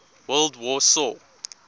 world war saw